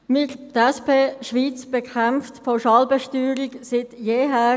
Wir, die SP Schweiz, bekämpfen die Pauschalbesteuerung seit jeher.